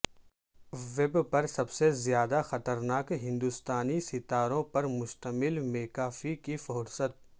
web پر سب سے زیادہ خطرناک ہندوستانی ستاروں پرمشتمل میکا فی کی فہرست